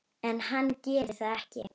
En hann gerir það ekki.